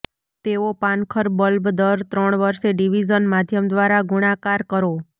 તેઓ પાનખર બલ્બ દર ત્રણ વર્ષ ડિવિઝન માધ્યમ દ્વારા ગુણાકાર કરો